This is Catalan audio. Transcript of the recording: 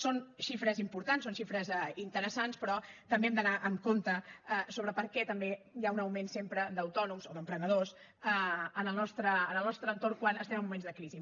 són xifres importants són xifres interessants però també hem d’anar amb compte sobre per què també hi ha un augment sempre d’autònoms o d’emprenedors en el nostre entorn quan estem en moments de crisi